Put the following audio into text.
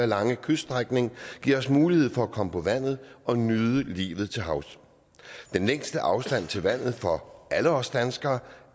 lange kyststrækning giver os mulighed for at komme på vandet og nyde livet til havs den længste afstand til vandet for alle os danskere